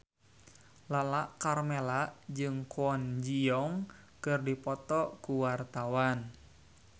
Lala Karmela jeung Kwon Ji Yong keur dipoto ku wartawan